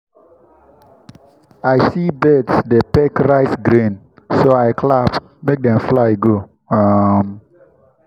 i see birds dey peck rice grains so i clap make dem fly go. um